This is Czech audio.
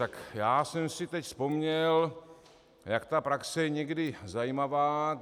Tak já jsem si teď vzpomněl, jak ta praxe je někdy zajímavá.